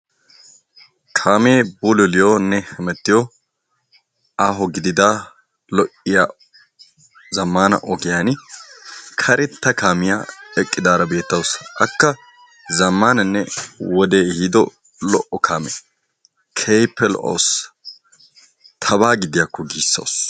Kaamee bululiyonne hemettiyo. aaho gidida lo"iya zammaana ogiyan karetta kaamiya eqqidaara beettawusu. Akka zammaananne wodee ehiido lo"o kaame. Keehippe lo"awus tabaa gidiyakko giissawusu.